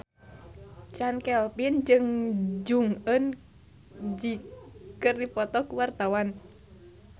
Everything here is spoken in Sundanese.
Chand Kelvin jeung Jong Eun Ji keur dipoto ku wartawan